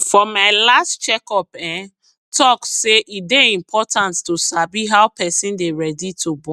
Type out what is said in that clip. for my last check up ehntalk say e dey important to sabi how person dey ready to born